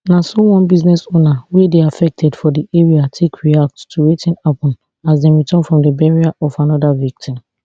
na so one business owner wey dey affected for di area take react to wetin happun as dem return from di burial of anoda victim